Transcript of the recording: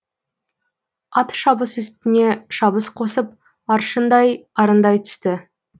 ат шабыс үстіне шабыс қосып аршындай арындай түсті